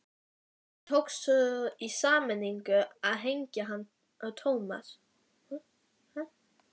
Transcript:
Þeim tókst svo í sameiningu að hengja hann á Thomas.